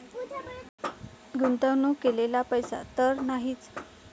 गुंतवणूक केलेला पैसा तर नाहीच.